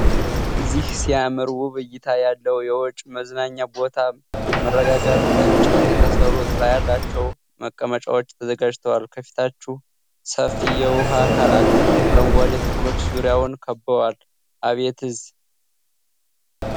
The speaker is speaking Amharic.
እህህ ሲያምር! ውብ እይታ ያለው የውጪ መዝናኛ ቦታ። መረጋጋት። ከእንጨት የተሰሩ ጥላ ያላቸው መቀመጫዎች ተዘጋጅተዋል። ከፊታቸው ሰፊ የውሃ አካል አለ። አረንጓዴ ተክሎች ዙሪያውን ከብበዋል። አቤት!